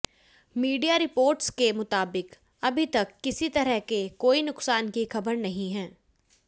media reports के मुताबिक अभी तक किसी तरह के कोई नुकसान की खबर नहीं है